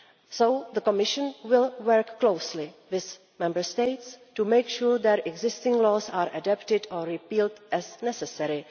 So the Commission will work closely with Member States to make sure that existing laws are adapted or repealed as necessary.